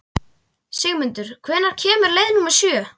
Sigmundur, hvenær kemur leið númer sjö?